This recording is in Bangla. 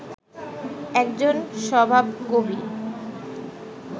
একজন স্বভাবকবি